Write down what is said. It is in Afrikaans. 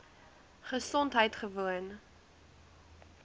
gesondheidgewoon